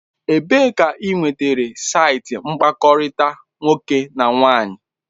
Ebee ka ị nwetara saịtị mkpakọrịta nwoke na nwaanyị?